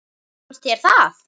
Fannst þér það?